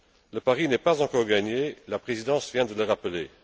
Le pari n'est pas encore gagné, la Présidence vient de le rappeler.